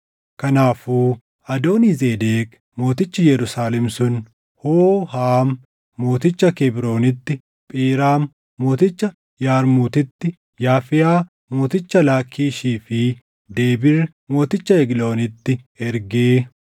Kanaafuu Adoonii-Zedeq mootichi Yerusaalem sun Hoohaam mooticha Kebroonitti, Phiraam mooticha Yarmuutitti, Yaafiiyaa mooticha Laakkiishii fi Debiir mooticha Egloonitti ergee,